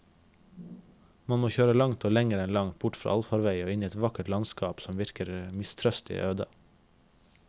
Man må kjøre langt og lenger enn langt bort fra allfarvei og inn et vakkert landskap som virker mistrøstig øde.